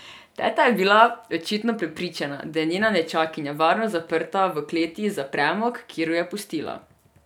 Teta je bila očitno prepričana, da je njena nečakinja varno zaprta v kleti za premog, kjer jo je pustila.